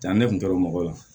Taa ne kun kɛra mɔgɔ la